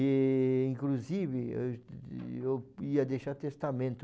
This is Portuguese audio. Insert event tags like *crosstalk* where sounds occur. E, inclusive, eu *unintelligible* eu ia deixar testamento.